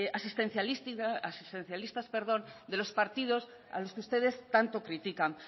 asistencialistas de los partidos a los que ustedes tanto critican